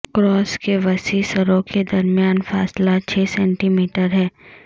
cross کے وسیع سروں کے درمیان فاصلہ چھ سینٹی میٹر ہے